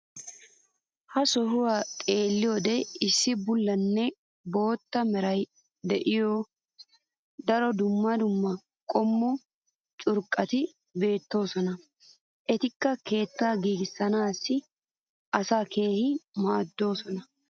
ha sohuwan xeelliyoode issi bullanne bootta meray de'iyo daro dumma dumma qommo curqqati beetoosona. etikka keettaa giigisanaassi asaa keehi maadoosona.